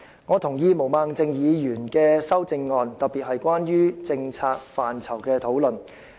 我同意毛孟靜議員的修正案，特別是關於政策範疇的討論。